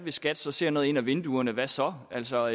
skat så ser noget ind ad vinduerne hvad så altså